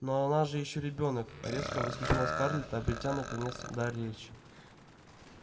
но она же ещё ребёнок резко воскликнула скарлетт обретя наконец дар речи